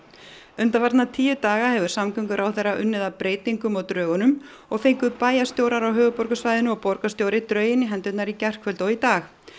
undanfarna tíu daga hefur samgönguráðherra unnið að breytingum á drögunum og fengu bæjarstjórar á höfuðborgarsvæðinu og borgarstjóri drögin í hendurnar í gærkvöld og í dag